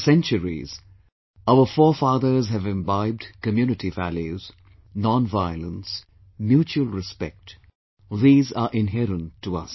For centuries, our forefathers have imbibed community values, nonviolence, mutual respect these are inherent to us